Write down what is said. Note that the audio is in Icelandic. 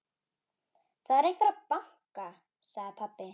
Það er einhver að banka, sagði pabbi.